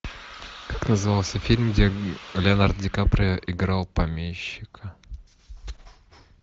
как назывался фильм где леонардо ди каприо играл помещика